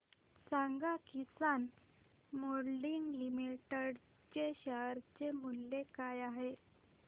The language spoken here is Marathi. सांगा किसान मोल्डिंग लिमिटेड चे शेअर मूल्य काय आहे